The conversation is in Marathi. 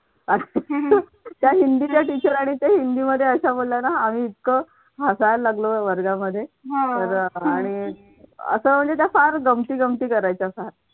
त्या हिंदीतल्या teacher रांनी ते हिंदीमध्ये अशा बोलला ना आम्ही इतक हसायला लागलो ना वर्गामध्ये तर आणि असं म्हणजे त्या फार गमती जमती करायच्या.